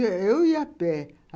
É, eu ia a pé.